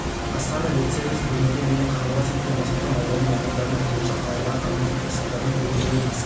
астана ветсервис бүгінге дейін қаңғыбас ит пен мысықты аулады мамандардың айтуынша қаладағы қаңғыбас ит-мысықтардың көбеюі ескі